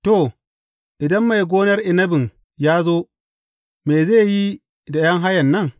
To, idan mai gonar inabin ya zo, me zai yi da ’yan hayan nan?